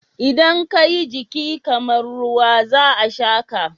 Idan ka yi jiki kamar ruwa, za a sha ka.